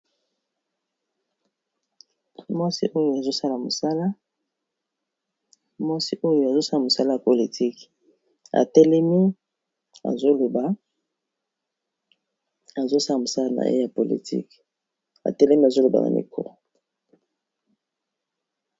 Mwasi oyo azosala mosala ya politiqe azosala mosala na ye ya politike atelemi azoloba na miko